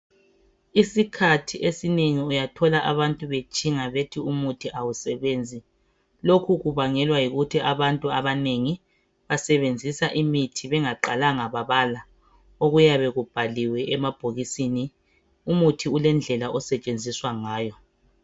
isikhathi esinengi uyathola abantu betshinga bethi umuthi awusebenzi lokhu kubangelwa yikuthi abantu abanengi bsebenzisa imithi bengabalanga okuyabe kubhaliwe emabhokisini umuthi ulendlela osetshenziswa ngayo